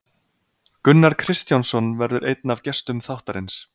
Gunnar Kristjánsson verður einn af gestum þáttarins.